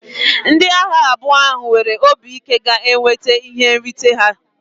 Ndị agha abụọ ahụ nwere obi ike ga-enweta ihe nrite ha.